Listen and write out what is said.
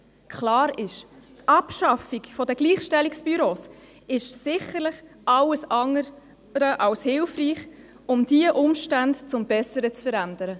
Es ist klar, dass die Abschaffung der Gleichstellungsbüros sicherlich alles andere als hilfreich ist, um diese Umstände zum Besseren zu verändern.